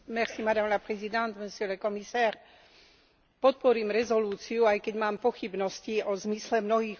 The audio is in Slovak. Podporím rezolúciu, aj keď mám pochybnosti o zmysle mnohých odporúčaní z predloženého návrhu uznesenia.